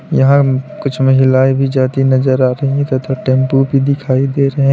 यहां कुछ महिलाएं भी जाती नजर आ रही है तथा टेंपो भी दिखाई दे रहे।